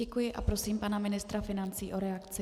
Děkuji a prosím pana ministra financí o reakci.